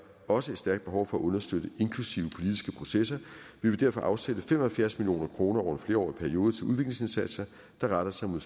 også et stærkt behov for at understøtte inklusive politiske processer vi vil derfor afsætte fem og halvfjerds million kroner over flerårig periode til udviklingsindsatser der retter sig mod